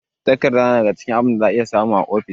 Takarda na daga cikin abin da za ka iya samu a ofis.